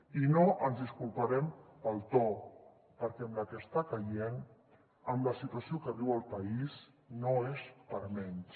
i no ens disculparem pel to perquè amb la que està caient amb la situació que viu el país no és per a menys